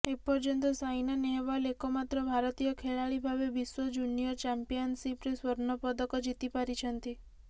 ଏପର୍ଯ୍ୟନ୍ତ ସାଇନା ନେହୱାଲ ଏକମାତ୍ର ଭାରତୀୟ ଖେଳାଳିଭାବେ ବିଶ୍ୱ ଜୁନିୟର ଚମ୍ପିଆନସିପ୍ରେ ସ୍ୱର୍ଣ୍ଣପଦକ ଜିତିପାରିଛନ୍ତି